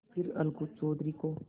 फिर अलगू चौधरी को